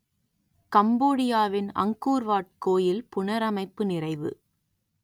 கம்போடியாவின் Angkor Wat கோயில் புனரமைப்பு நிறைவு